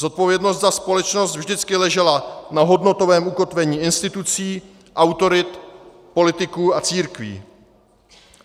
Zodpovědnost za společnost vždycky ležela na hodnotovém ukotvení institucí, autorit, politiků a církví.